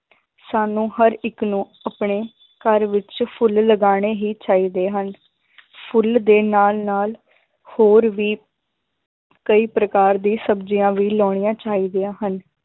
ਸਾਨੂੰ ਹਰ ਇੱਕ ਨੂੰ ਆਪਣੇ ਘਰ ਵਿੱਚ ਫੁੱਲ ਲਗਾਉਣੇ ਹੀ ਚਾਹੀਦੇ ਹਨ ਫੁੱਲ ਦੇ ਨਾਲ ਨਾਲ ਹੋਰ ਵੀ ਕਈ ਪ੍ਰਕਾਰ ਦੀ ਸਬਜ਼ੀਆਂ ਵੀ ਲਾਉਣੀਆਂ ਚਾਹੀਦੀਆਂ ਹਨ,